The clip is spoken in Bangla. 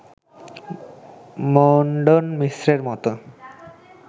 মণ্ডন মিশ্রের মতের